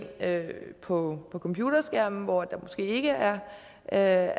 på computerskærmen hvor der måske ikke er er